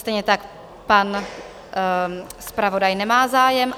Stejně tak pan zpravodaj nemá zájem?